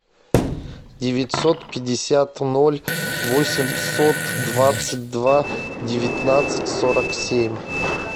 девятьсот пятьдесят ноль восемьсот двадцать два девятнадцать сорок семь